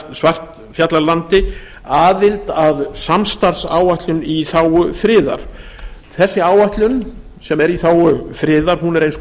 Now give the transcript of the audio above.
svartfjallalandi aðild að samstarfsáætlun í þágu friðar þessi áætlun sem er í þágu friðar er eins